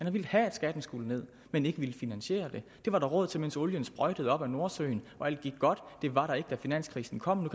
har villet have at skatten skulle ned men har ikke villet finansiere det det var der råd til mens olien sprøjtede op af nordsøen og alt gik godt det var der ikke da finanskrisen kom